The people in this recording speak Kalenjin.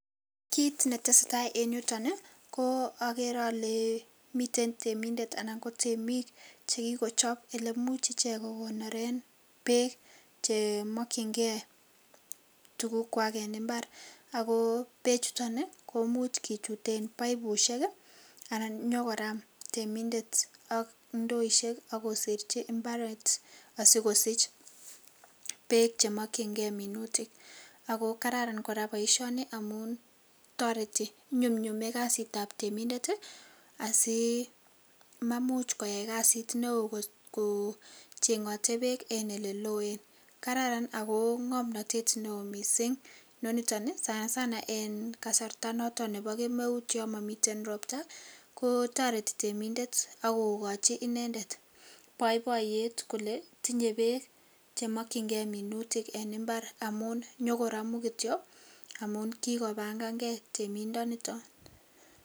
Kit ne tesetai en yuton ko agere ale miten temindet ana ko temik che kikochob olemuch ichek kokonoren beek che mokyinge tugukwak en imbar ago beechuto komuch kichuten paipusiek anan konyokoram temindet ak ndoisyek ak koserchi imbaret asikosich beek che mokyinge minutik ago kararan kora boisioni amun toreti, inyumnyume kasitab temindet asimamuch koyai kasit neo kochengote beek en oleloen. Kararan ago ngomnatet neo mising inoniton sanasana en kasarta noto nebo kemeut yomomite ropta, kotoreti temindet ak kogochi inendet boiboiyet kole tinye beek che mokyinge minutik en imbar amun nyokoramu kityo amun kikobangange temindonito.